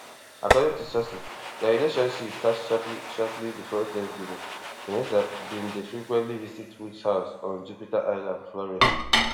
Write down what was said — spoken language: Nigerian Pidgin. according to sources dia relationship start shortly shortly bifor thanksgiving vanessa bin dey frequently visit woods house on jupiter island florida